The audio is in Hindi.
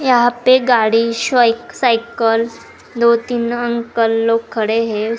शॉप पे गाड़ी शोइक साइकिल दो तीन अंकल लोग खड़े हैं।